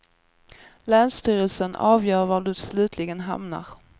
Länsstyrelsen avgör vart du slutligen hamnar.